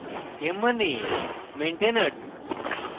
m হল maintainers